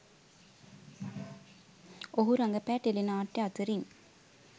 ඔහු රඟපෑ ටෙලි නාට්‍යය අතරින්